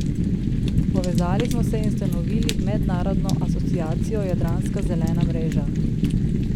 Povezali smo se in ustanovili mednarodno asociacijo Jadranska zelena mreža.